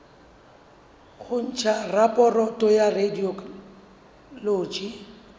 ho ntsha raporoto ya radiology